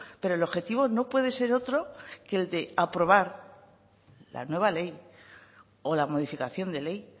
pero el objetivo no puede ser otro que el de aprobar la nueva ley o la modificación de ley